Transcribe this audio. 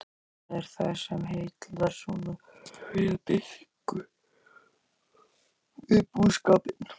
En hvað er það sem heillar svona við búskapinn?